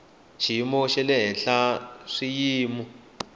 xiyimo xa le henhla swiyimo